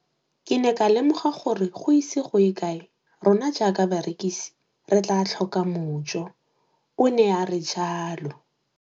Ke ne ka lemoga gore go ise go ye kae rona jaaka barekise re tla tlhoka mojo, o ne a re jalo.